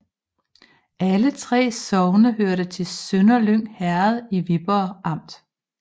Alle 3 sogne hørte til Sønderlyng Herred i Viborg Amt